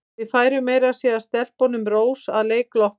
Við færðum meira að segja stelpunum rósir að leik loknum.